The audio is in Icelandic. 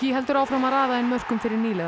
heldur áfram að raða inn mörkum fyrir nýliða